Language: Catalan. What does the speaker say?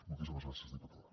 moltíssimes gràcies diputada